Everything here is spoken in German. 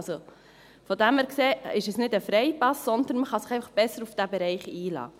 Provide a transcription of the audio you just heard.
Daher ist es nicht ein Freipass, sondern man kann sich einfach besser auf diesen Bereich einlassen.